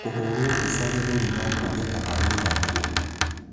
Kũhũrwo mbica gĩthũri no kũge kana wĩnaguo.